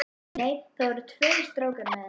Nei, það voru tveir strákar með henni.